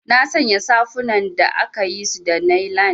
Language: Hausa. Nasanya safunan da akayisu da nailan.